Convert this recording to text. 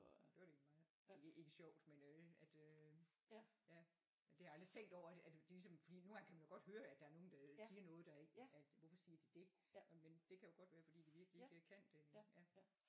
Det var da egentlig meget ikke ikke sjovt men øh at øh ja det har jeg aldrig tænkt over at ligesom fordi nogle gange kan man jo godt høre at der er nogen der siger noget der ikke at hvorfor siger de det men det kan jo godt være fordi at de virkelig ikke kan det ja